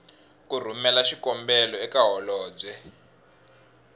ku rhumela xikombelo eka holobye